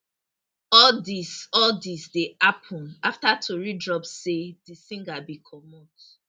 all dis all dis dey happun afta tori drop say di singer bin comot